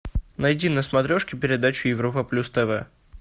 найди на смотрешке передачу европа плюс тв